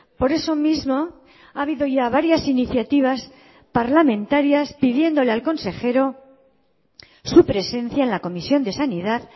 por eso mismo ha habido ya varias iniciativas parlamentarias pidiéndole al consejero su presencia en la comisión de sanidad